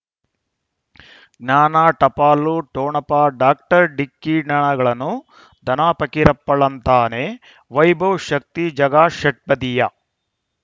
ಜ್ಞಾನ ಟಪಾಲು ಠೊಣಪ ಡಾಕ್ಟರ್ ಢಿಕ್ಕಿ ಣಗಳನು ಧನ ಫಕೀರಪ್ಪ ಳಂತಾನೆ ವೈಭವ್ ಶಕ್ತಿ ಝಗಾ ಷಟ್ಪದಿಯ